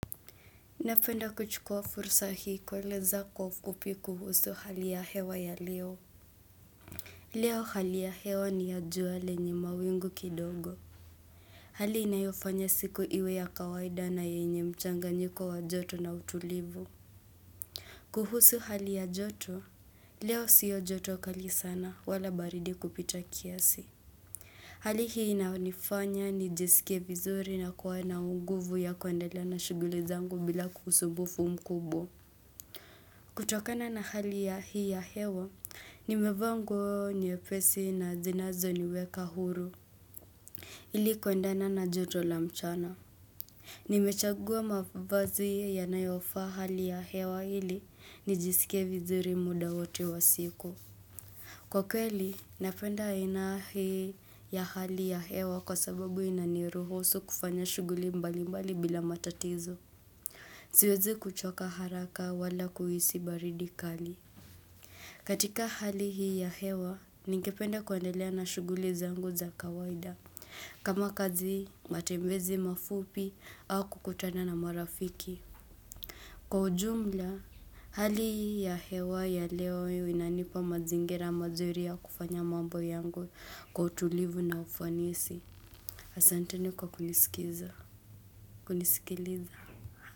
Napenda kuchukua fursa hii kuwaeleza kwa ufupi kuhusu hali ya hewa ya leo. Leo hali ya hewa ni ya jua lenye mawingu kidogo. Hali inayofanya siku iwe ya kawaida na yenye mchanganyiko wa joto na utulivu. Kuhusu hali ya joto? Leo sio joto kali sana wala baridi kupita kiasi. Hali hii inaonifanya nijisikie vizuri na kuwa na nguvu ya kuendelea na shughuli zangu bila kuhusu usumbufu mkubwa. Kutokana na hali ya hii ya hewa, nimevaa nguo nyepesi na zinazo niweka huru. Hili kuendana na joto la mchana. Nimechagua mafavazi yanayofaa hali ya hewa ili, nijisikie vizuri muda wote wa siku. Kwa kweli, napenda aina hii ya hali ya hewa kwa sababu inaniruhusu kufanya shughuli mbali mbali bila matatizo. Siwezi kuchoka haraka wala kuhisi baridi kali. Katika hali hii ya hewa, ningepende kuendelea na shughuli zangu za kawaida, kama kazi matembezi mafupi au kukutana na marafiki. Kwa ujumla, hali hii ya hewa ya leo inanipa mazingira mazuri ya kufanya mambo yangu kwa utulivu na ufanisi. Asanteni kwa kunisikiza, kunisikiliza.